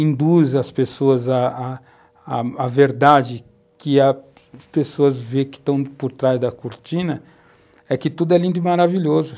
induz às pessoas a a verdade que as pessoas veem que estão por trás da cortina, é que tudo é lindo e maravilhoso.